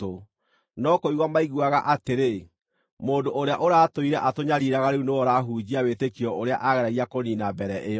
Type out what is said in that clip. No kũigua maiguaga atĩrĩ, “Mũndũ ũrĩa ũratũire atũnyariiraga rĩu nĩwe ũrahunjia wĩtĩkio ũrĩa aageragia kũniina mbere ĩyo.”